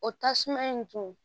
O tasuma in tun